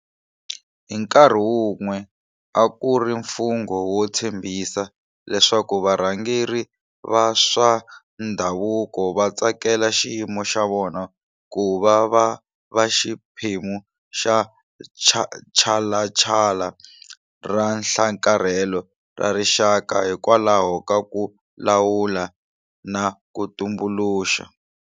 Hi nkarhi wun'we a ku ri mfungho wo tshembisa leswaku varhangeri va swa ndhavuko va tsakela xiyimo xa vona ku va va va xiphemu xa tshalatshala ra nhlakarhelo ra rixaka hikwalaho ka ku lawula na ku tumbuluxa.